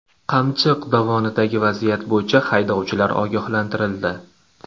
Qamchiq dovonidagi vaziyat bo‘yicha haydovchilar ogohlantirildi.